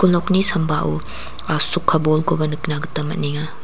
nokni sambao asoka bolkoba nikna gita man·enga.